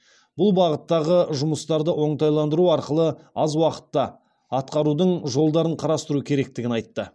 бұл бағыттағы жұмыстарды оңтайландыру арқылы аз уақытта атқарудың жолдарын қарастыру керектігін айтты